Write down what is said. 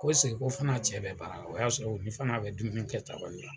Ko ko fana cɛ bɛ baara la, o y'a sɔrɔ u ni fana bɛ dumuni kɛ tabali la.